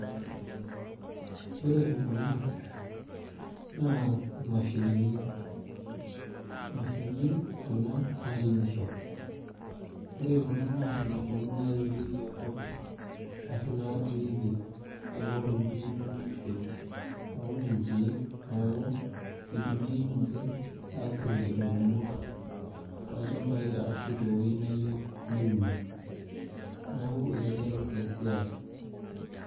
ore kuna na mashinini, imashinini kuna nairemisho. ore kuna naa mashinini nairemieki enkop, arashu naaturieki enkop teniyieu niudisho. aud inkek neku itumiae inche aturie ing'umot too lchampai ashu te wueji niyieu niunie. neku itelelek ninche esiai.